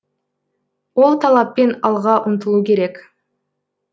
ол талаппен алға ұмтылу керек